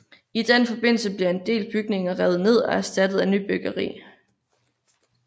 I den forbindelse bliver en del bygninger revet ned og erstattet af nybyggeri